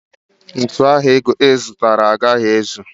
Ntu ahu I zutara a gaghi ezu.